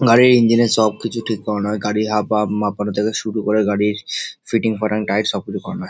গাড়ির ইঞ্জিন এর সব কিছু ঠিক করানো হয়। গাড়ির হাবভাব মাপানো থেকে শুরু করে গাড়ির ফিটিং বটম টাইট সব কিছু করানো হয়।